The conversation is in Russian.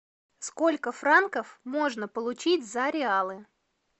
сколько франков можно получить за реалы